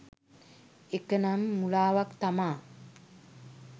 ඒකනම් මුලාවක් තමා.